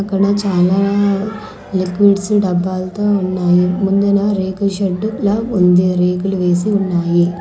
ఇక్కడ చాలా లిక్విడ్స్ డబ్బాలతో ఉన్నాయి ముందున రేకుల షెడ్ లా ఉంది రేకులు వేసి ఉన్నాయి.